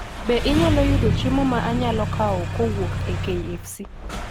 Be anyalo yudo chiemo ma anyalo kawo kowuok e kfc